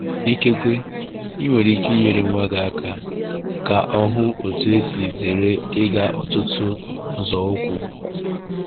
Ikekwe ị nwere ike inyere nwa gị ka ka ọ hụ otú e si zere ịga ọtụtụ nzọụkwụ.